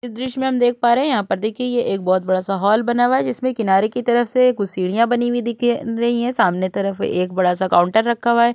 इस दृश्य में हम देख पा रहे हैं। यहाँ पर देखिए एक बहुत बड़ा सा हॉल बना हुआ है। जिसमें किनारे की तरफ से कुछ सीढ़ियां बनी हुई दिख रही हैं। सामने तरफ एक बड़ा सा काउंटर रखा हुआ है।